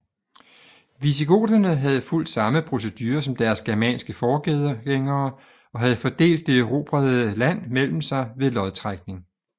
Visigoterne havde fulgt samme procedure som deres germanske forgængere og havde fordelt det erobrede land mellem sig ved lodtrækning